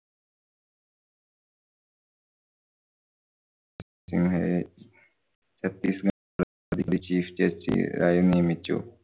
ഇന്നലെ Satish chief justice ആയി നിയമിച്ചു.